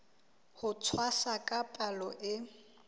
ho tshwasa ka palo e